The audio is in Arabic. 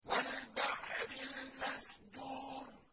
وَالْبَحْرِ الْمَسْجُورِ